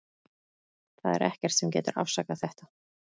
Það er ekkert sem getur afsakað þetta.